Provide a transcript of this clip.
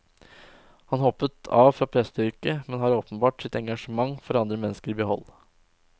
Han hoppet av fra presteyrket, men har åpenbart sitt engasjement for andre mennesker i behold.